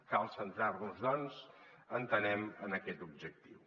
cal centrar nos doncs entenem en aquest objectiu